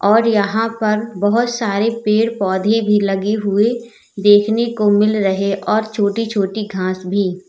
और यहां पर बहोत सारे पेड़ पौधे भी लगे हुए देखने को मिल रहे और छोटी छोटी घास भी।